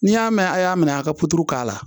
N'i y'a mɛn a' y'a minɛ a ka k'a la